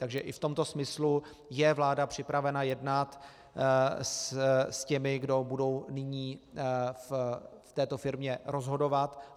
Takže i v tomto smyslu je vláda připravena jednat s těmi, kdo budou nyní v této firmě rozhodovat.